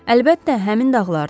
Əlbəttə, həmin dağlardır.